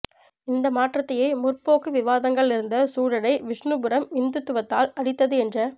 இந்த மாற்றத்தையே முற்போக்கு விவாதங்கள் இருந்த சூழலை விஷ்ணுபுரம் இந்துத்துவத்தால் அழித்தது என்ற